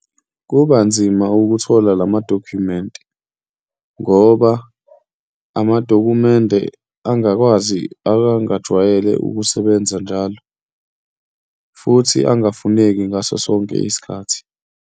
Kuba nzima ukuthola la madokhumenti, ngoba amadokhumende angakwazi akangajwayele ukusebenza njalo futhi angafuneki ngaso sonke isikhathi.